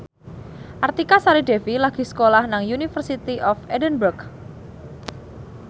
Artika Sari Devi lagi sekolah nang University of Edinburgh